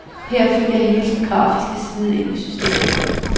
Her fik jeg hele den grafiske side ind i systemet.